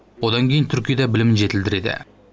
одан кейін түркияда білімін жетілдіреді